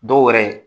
Dɔw wɛrɛ